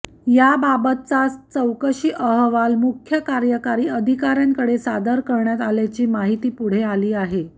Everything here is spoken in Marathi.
या बाबतचा चौकशी अहवाल मुख्य कार्यकारी अधिकाऱयांकडे सादर करण्यात आल्याची माहिती पुढे आली आहे